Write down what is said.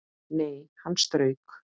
Nei, hann strauk